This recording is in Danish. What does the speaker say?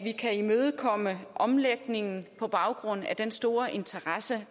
vi kan imødekomme omlægningen på baggrund af den store interesse